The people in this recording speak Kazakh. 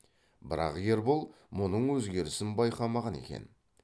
бірақ ербол мұның өзгерісін байқамаған екен